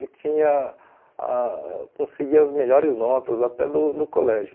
Eu tinha ah conseguia as melhores notas até do do colégio.